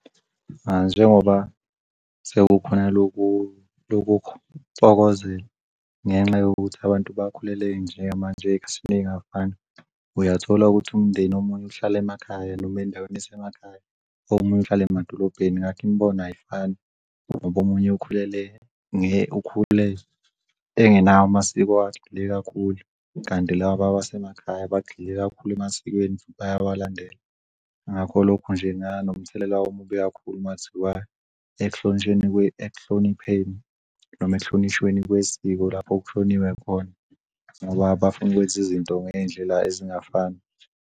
Njengoba sekukhona loku lokho kuxokozela ngenxa yokuthi abantu bakhulele ey'ngafani uyathola ukuthi umndeni omunye uhlala emakhaya noma ey'ndaweni ey'semakhaya omunye uhlala emadolobheni ngakho imibono ayifani. Ngoba omunye ukhulele ukhule engenawo amasiko kakhulu kanti labaya basemakhaya bagxile kakhulu emasikweni bayawalandela ngakho lokho nje nganomthelela omubi kakhulu mathiwa ekuhlonipheni noma ekuhlonishweni kwesiko lapho kushoniwe khona ngoba bafuna ukwenza izinto ngey'ndlela ezingafani.